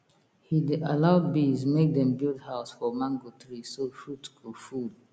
he dey allow bees make dem build house for mango tree so fruit go full